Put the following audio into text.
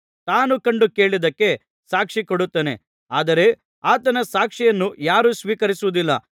ತಾನು ಕಂಡು ಕೇಳಿದ್ದಕ್ಕೆ ಸಾಕ್ಷಿ ಕೊಡುತ್ತಾನೆ ಆದರೆ ಆತನ ಸಾಕ್ಷಿಯನ್ನು ಯಾರೂ ಸ್ವೀಕರಿಸುವುದಿಲ್ಲ